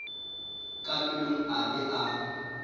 ka pelong a be a